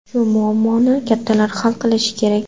Shu muammoni kattalar hal qilishi kerak.